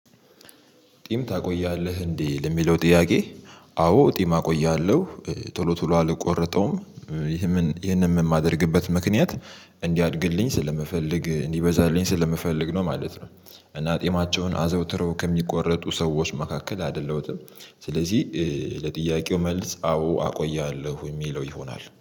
ጢም ታቆያለህ እንዴ ለሚለው ጥያቄ? አዎ ጢም አቆያለሁ ቶሎ ቶሎ አልቆረጠውም። ይህንንም የማደርግበት ምክንያት እንዲያድግልኝ ስለምፈልግ እንዲበዛልኝ ስለምፈልግ ነው ማለት ነው። እና ጢማቸውን አዘውትረው ከሚቆረጡ ሰዎች መካከል አደለሁትም። ስለዚህ ለጥያቄው መልስ አዎ አቆያለሁ ሚለው ይሆናል